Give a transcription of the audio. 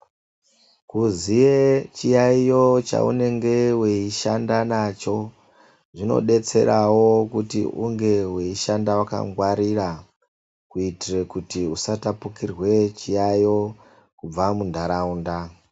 Kuziye chiyaiyo chaunenge weishanda nacho zvinetserawo kuti unge weishanda wakangwarira, kuitira kuti usatapukirwa ngechiyaiyo kubva munharaunda.